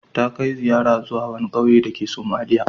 Ta kai ziyara zuwa wani ƙauye dake Sumaila.